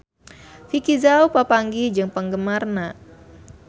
Vicki Zao papanggih jeung penggemarna